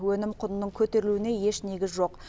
өнім құнының көтерілуіне еш негіз жоқ